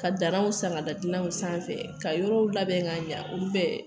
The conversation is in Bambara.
Ka danw san ka da dilanw sanfɛ ka yɔrɔw labɛn ka ɲa, olu bɛɛ